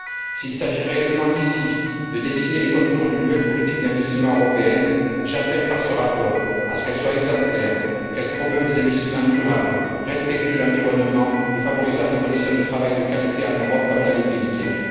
S'il s'agit réellement, ici, de dessiner les contours d'une nouvelle politique d'investissement européenne, j'appelle, par ce rapport, à ce qu'elle soit exemplaire, qu'elle promeuve des investissements durables, respectueux de l'environnement et favorisant des conditions de travail de qualité en Europe comme dans les pays tiers.